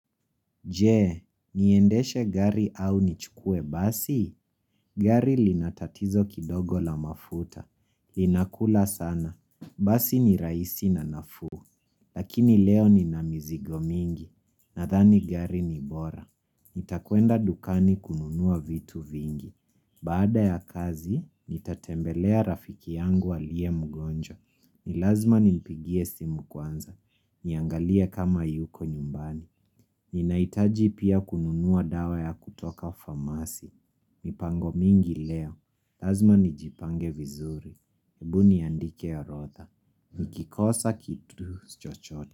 Je, niendeshe gari au nichukue basi? Gari lina tatizo kidogo la mafuta. Linakula sana. Basi ni rahisi na nafuu. Lakini leo nina mizigo mingi. Nadhani gari ni bora. Nitakwenda dukani kununua vitu vingi. Baada ya kazi, nitatembelea rafiki yangu aliye mgonjwa. Ni lazma nimpigie simu kwanza. Niangalia kama yuko nyumbani. Ninahitaji pia kununua dawa ya kutoka famasi mipango mingi leo lazma nijipange vizuri hebu niandike orodha Nikikosa kitu chochote.